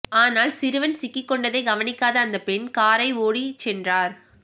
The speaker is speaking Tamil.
ஆனால் சிறுவன் சிக்கிக் கொண்டதை கவனிக்காத அந்த பெண் காரை ஓடி சென்றார்